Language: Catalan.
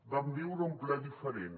vam viure un ple diferent